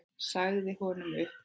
Sagði honum upp.